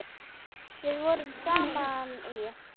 Við vorum saman í